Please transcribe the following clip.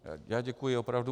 Já děkuji opravdu.